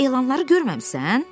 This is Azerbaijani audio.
Sən elanları görməmisən?